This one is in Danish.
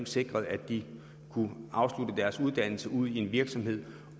sikret at de kunne afslutte deres uddannelse ude i en virksomhed